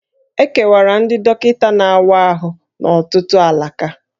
E kewara ndị dọkịta na-awa ahụ n'ọtụtụ alaka